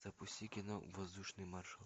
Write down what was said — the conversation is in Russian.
запусти кино воздушный маршал